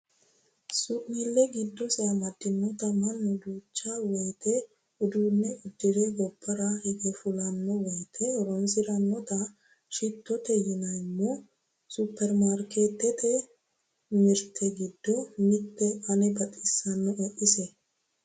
Su'nile giddose amadinotta mannu duucha woyte uduune udire gobbara hige fullano woyte horonsiranotta shitote yineemmo superimaarketete mirte giddo mitete ane baxisanoe ise.